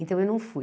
Então eu não fui.